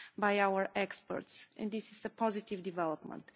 by our experts, and this is a positive development.